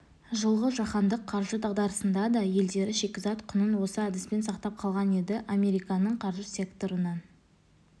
жылғы жаһандық қаржы дағдарысында да елдері шикізат құнын осы әдіспен сақтап қалған еді американың қаржы секторынан